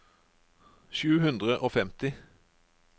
sju hundre og femti